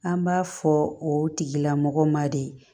An b'a fɔ o tigilamɔgɔ ma de